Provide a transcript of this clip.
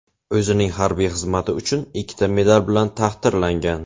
O‘zining harbiy xizmati uchun ikkita medal bilan taqdirlangan.